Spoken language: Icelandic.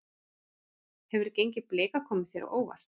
Hefur gengi Blika komið þér á óvart?